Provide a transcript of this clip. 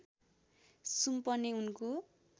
सुम्पने उनको